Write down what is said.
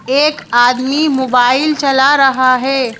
एक आदमी मोबाइल चला रहा है।